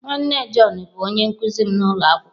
Nwanne John bụ onye nkụzi m n'ụlọ akwụkwọ.